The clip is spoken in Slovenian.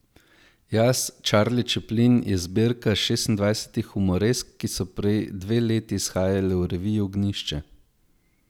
Jaz, Čarli Čeplin je zbirka šestindvajsetih humoresk, ki so prej dve leti izhajale v reviji Ognjišče.